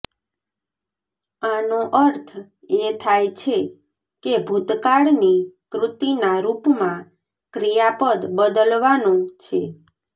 આનો અર્થ એ થાય છે કે ભૂતકાળની કૃતિના રૂપમાં ક્રિયાપદ બદલવાનો છે